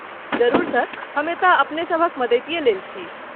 जरुर सर, हम एतय अपने सभक मदतिये लेल छी।